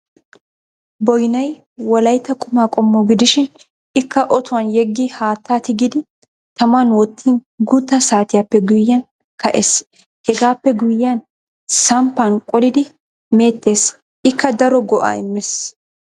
Boynay wolaytta qumaa qommo gidishin ikka otuwan yeggi haattaa tigidi taman wottin guutta saatiyappe guyyiyan ka'es. hegaappe guyyiyan samppan qolidi meettes ikka daro go'aa immes.